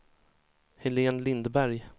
Helén Lindberg